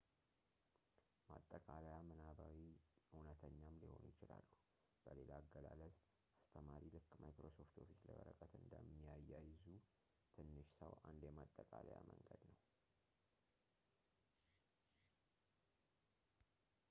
ማጠቃለያ ምናባዊም እውነተኛም ሊሆኑ ይችላሉ በሌላ አገላለጽ አስተማሪ ልክ ማይክሮሶፍት ኦፊስ ላይ ወረቀት እንደሚያያይዝ ትንሹ ሰው አንድ የማጠቃለያ መንገድ ነው